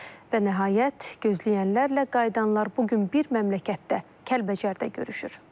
Və nəhayət, gözləyənlərlə qayıdanlar bu gün bir məmləkətdə, Kəlbəcərdə görüşür.